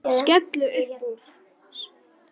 Skellti upp úr.